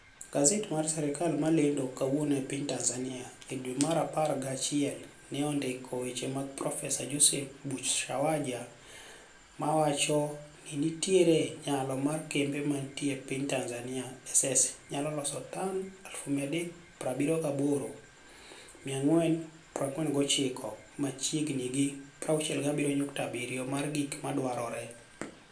Gaset mar sirkal mar lenido kawuono e piniy Tanizaniia, edwe mar apar giachiel ni e onidiko weche mag ProfeSaa Joseph Buchwashaija ko wacho nii niitiere niyalo mar kembe maniitie piniy tanizaniia SSniyalo loso toni 378,449 machiegnii gi 67.7 mar gik madwarore.